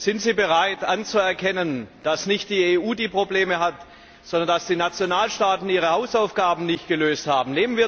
Sind Sie bereit, anzuerkennen, dass nicht die EU Probleme hat, sondern dass die Nationalstaaten ihre Hausaufgaben nicht gemacht haben?